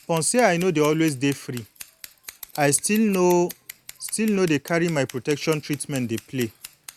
upon say i no dey always dey free i still no still no dey carry my protection treatment play